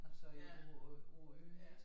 Altså øh på øh på æ ø ik